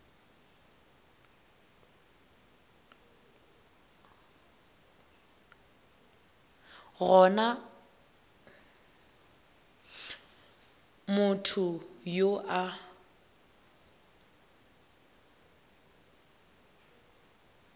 go na motho yo a